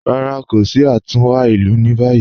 Rárá, kò sí àtúnwá ilù ní báyì